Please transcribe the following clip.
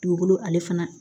Dugukolo ale fana